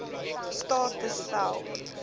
staat te stel